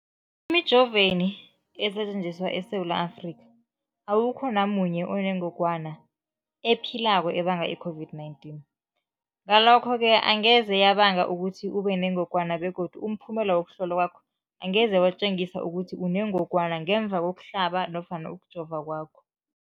Emijoveni esetjenziswa eSewula Afrika, awukho namunye onengog wana ephilako ebanga i-COVID-19. Ngalokho-ke angeze yabanga ukuthi ubenengogwana begodu umphumela wokuhlolwan kwakho angeze watjengisa ukuthi unengogwana ngemva kokuhlaba nofana kokujova kwakho.